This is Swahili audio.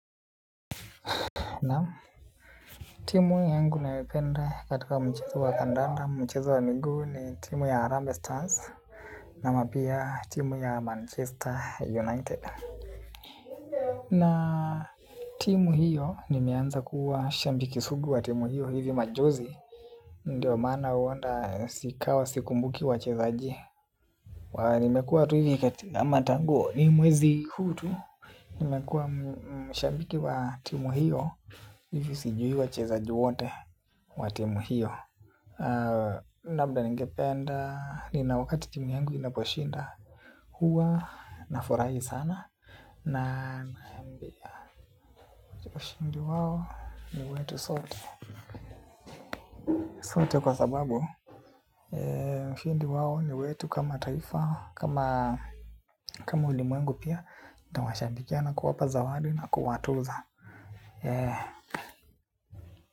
Nam timu yangu nayopenda katika mchezo wa kandanda mchezo wa miguu ni timu ya harambee stars ama pia timu ya manchester united na timu hiyo nimeanza kuwa shabiki sugu wa timu hiyo hivi majuzi ndio maana huenda ikawa sikumbuki wachezaji aa nimekuwa tu hivi katika ama tangu ni mwezi huu tu. Nimekuwa mshambiki wa timu hiyo. Hivi sijui wachezaji wote wa timu hiyo labda ningependa nina wakati timu yangu inaposhinda. Huwa nafurahi sana. Na naambia ushindi wao ni wetu sote. Sote kwa sababu ushindi wao ni wetu kama taifa. Kama ulimwengu pia tawashabikia na kuwapa zawadi na kuwatuza. Yee.